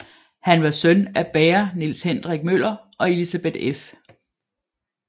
Han var søn af bager Niels Hendrik Møller og Elisabeth f